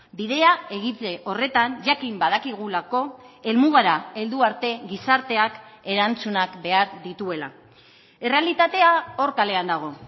bidea egite horretan jakin badakigulako helmugara heldu arte gizarteak erantzunak behar dituela errealitatea hor kalean dago